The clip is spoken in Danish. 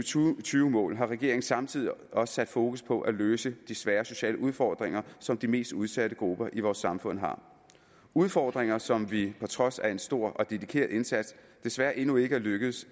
tusind og tyve mål har regeringen samtidig også sat fokus på at løse de svære sociale udfordringer som de mest udsatte grupper i vores samfund har udfordringer som vi på trods af en stor og dedikeret indsats desværre endnu ikke er lykkedes